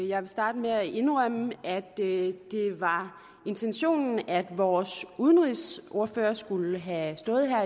jeg vil starte med at indrømme at det var intentionen at vores udenrigsordfører skulle have stået her